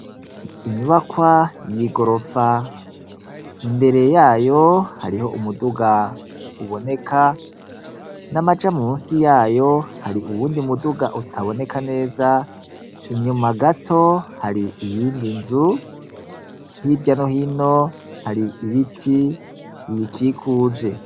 inyubakwa yigorofa imbere yayo hariho umuduga uboneka n'amaja munsi yayo hari uwundi muduga utaboneka neza inyuma gato hari iyindi nzu h'iryano hino hari ibiti bikikuje